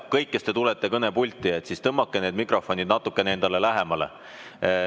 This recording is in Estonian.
Kõik, kes te tulete kõnepulti, tõmmake need mikrofonid natuke endale lähemale.